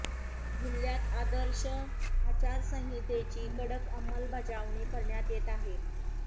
जिल्ह्यात आदर्श आचारसंहितेची कडक अंमलबजावणी करण्यात येत आहे